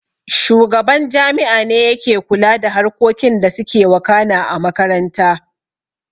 Shugaban jami'a ne yake kula da harkokin da suke wakana a makaranta